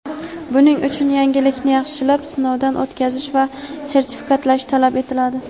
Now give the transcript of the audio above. buning uchun yangilikni yaxshilab sinovdan o‘tkazish va sertifikatlash talab etiladi.